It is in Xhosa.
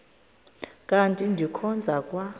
kanti ndikhonza kwa